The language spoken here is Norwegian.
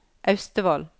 Austevoll